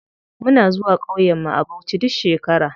Muna zuwa ƙauyen mu a bauchi duk shekara.